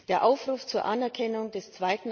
Der Aufruf zur Anerkennung des